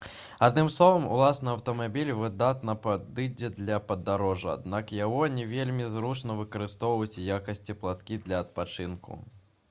адным словам уласны аўтамабіль выдатна падыдзе для падарожжа аднак яго не вельмі зручна выкарыстоўваць у якасці палаткі для адпачынку